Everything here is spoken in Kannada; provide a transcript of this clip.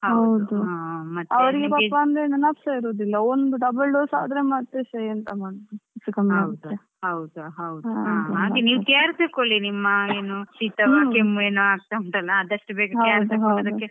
ಹೌದ್ ಅವ್ರಿಗೆ ಪಾಪ ಅಂದ್ರೆ ನೆನಪೇ ಇರುದಿಲ್ಲ ಒಂದ್ double dose ಆದ್ರೆ ಮತ್ತೆ ಎಂತಸ ಮಾಡುದು ಹೆಚ್ಚ್ ಕಮ್ಮಿಆಗ್ತದೆ.